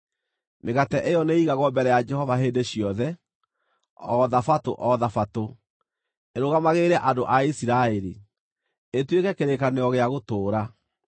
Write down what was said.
Mĩgate ĩyo nĩ ĩigagwo mbere ya Jehova hĩndĩ ciothe, o Thabatũ o Thabatũ, ĩrũgamagĩrĩre andũ a Isiraeli, ĩtuĩke kĩrĩkanĩro gĩa gũtũũra.